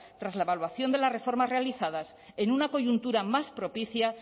tras la evaluación de las reformas realizadas en una coyuntura más propicia